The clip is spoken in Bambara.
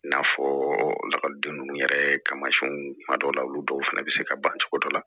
N'a fɔ lakɔliden ninnu yɛrɛ kamasɛnw kuma dɔw la olu dɔw fana bɛ se ka ban cogo dɔ la